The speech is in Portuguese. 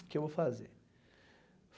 O que eu vou fazer?